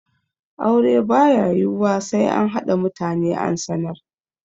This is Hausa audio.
Aure ba ya yiwuwa sai an haɗa mutane an sanar.